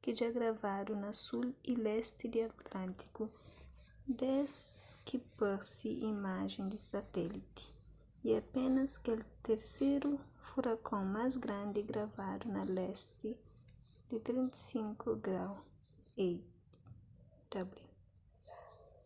ki dja gravadu na sul y lesti di atlântiku des ki parse imajen di satéliti y apénas kel terseru furakon más grandi gravadu na lesti di 35°w